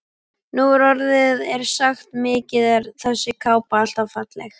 Nú orðið er sagt: Mikið er þessi kápa alltaf falleg